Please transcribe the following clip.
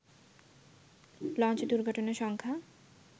launch দূর্ঘটনার সংখ্যা